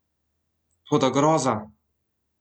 Toda groza!